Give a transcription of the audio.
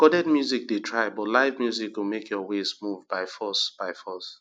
recorded music dey try but live music go make your waist move by force by force